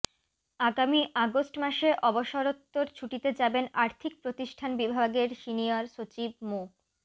আগামী আগস্ট মাসে অবসরোত্তর ছুটিতে যাবেন আর্থিক প্রতিষ্ঠান বিভাগের সিনিয়র সচিব মো